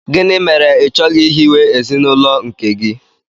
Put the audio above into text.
Gịnị mere i chọghị ihiwe ezinụlọ nke gị?